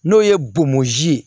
N'o ye bomozi ye